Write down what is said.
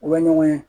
U bɛ ɲɔgɔn ye